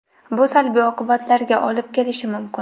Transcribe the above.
Bu salbiy oqibatlarga olib kelishi mumkin.